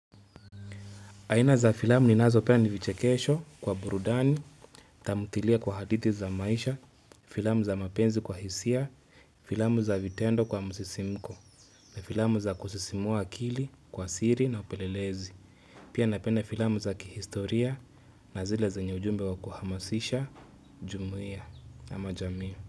Aina za filamu ninazo penda ni vichekesho kwa burudani, tamthtilia kwa hadithi za maisha, filamu za mapenzi kwa hisia, filamu za vitendo kwa msisimko na filamu za kusisimua akili kwa siri na upelelezi. Pia napenda filamu za kihistoria na zile zenye ujumbe wa kuhamasisha, jumuiya ama jami.